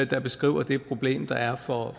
der beskriver det problem der er for